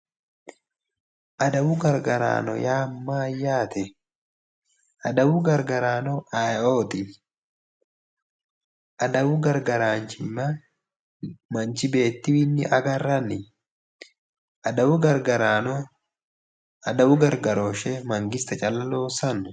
Adawu gargaraano yaa mayyaate? adawu gargaraano ayeeooti? adawu gargaraanchimma manchi beettiwiinni agarranni? adawu gargarano adawu gargarooshshe mangiste calla loossanno?